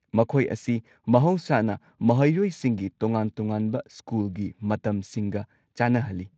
ꯃꯈꯣꯏ ꯑꯁꯤ ꯃꯍꯧꯁꯥꯅ ꯃꯍꯩꯔꯣꯏꯁꯤꯡꯒꯤ ꯇꯣꯉꯥꯟ-ꯇꯣꯉꯥꯟꯕ ꯁ꯭ꯀꯨꯜꯒꯤ ꯃꯇꯝꯁꯤꯡꯒ ꯆꯥꯟꯅꯍꯜꯂꯤ꯫